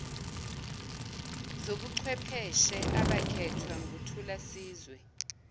zobuchwepheshe abakhethwa nguthulasizwe